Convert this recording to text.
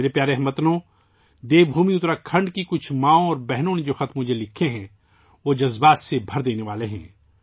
میرے پیارے ہم وطنو، دیو بھومی اتراکھنڈ کی کچھ ماؤں اور بہنوں کی طرف سے مجھے لکھے گئے خطوط دل کو چھو لینے والے ہیں